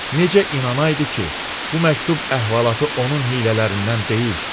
Necə inanaydı ki, bu məktub əhvalatı onun hiylələrindən deyil?